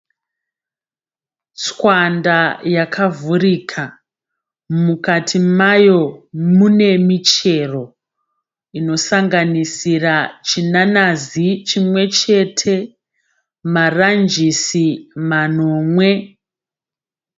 Tswanda yakavhurika. Mukati mayo mune michero inosanganisira chinanazi chimwe chete maranjisi manomwe.